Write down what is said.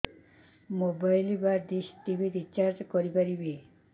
mobile ବା dish TV recharge କରି ପାରିବି